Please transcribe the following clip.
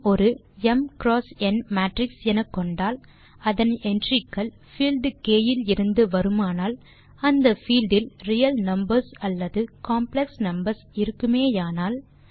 ம் ஒரு ம் ந் மேட்ரிக்ஸ் எனக்கொண்டால் அதன் entryக்கள் பீல்ட் க் இலிருந்து வருமானால் அந்த பீல்ட் இல் ரியல் நம்பர்ஸ் அல்லது காம்ப்ளெக்ஸ் நம்பர்ஸ் இருக்குமேயானால்